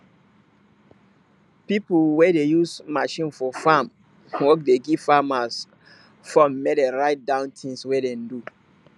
pipo wey dey use machine for farm work dey give farmers phone mek dem write down things wey dem do